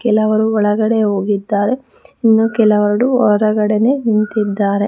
ಕೆಲವರು ಒಳಗಡೆ ಹೋಗಿದ್ದಾರೆ ಇನ್ನು ಕೆಲವಡು ಹೊರಗಡೆನೆ ನಿಂತಿದ್ದಾರೆ.